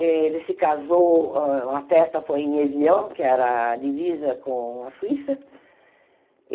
Eh ele se casou... A festa foi em Evian, que era a divisa com a Suíça.